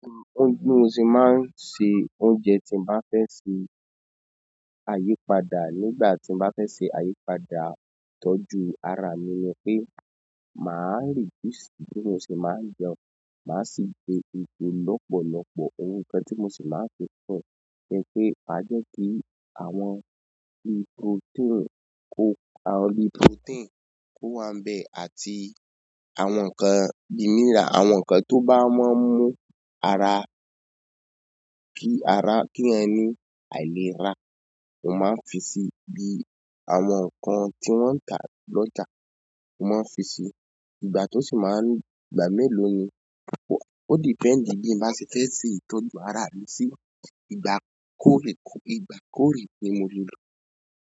Óún bi mo se máa ń ṣe oúnjẹ tí n bá fẹ́ ṣe àyípadà nígbà tí n bá fẹ́ ṣe àyípadà ìtọ́jú ara mi ni pé maa reduce bí mo ṣe máa jẹun. Mà á sì gbe lọ́pọ̀lọ́pọ̀. Ohun kan tí mo sì máa fẹ́ fọ̀ jẹ́ pé máa jẹ́ kí àwọn bí prótéìn kó àwọn bi prótéìn kó wá nbẹ̀ àti àwọn nǹkan bímìlà, àwọn nǹkan tó bá máa ń mú ara ki ara, mi eeyan ni àìlera mo maa n fi si. Bi àwọn naan ti won n ta lọ́jà, mo máa ń fi si. Ìgbà tó sì máa ń gba mélòó ni? Ó dependi bí n bá ṣe fẹ́ ṣe ìtọ́jú ara rẹ sí ìgbà kóorekó ìgbà kórè ni mo le lọ.